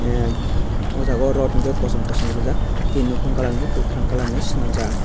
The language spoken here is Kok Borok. ahh aw jaaga rot unke kosom kosom reejak tai nokhung kalar ni swnamjak.